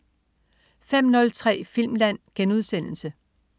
05.03 Filmland*